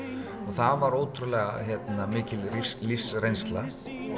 og það var ótrúlega mikil lífsreynsla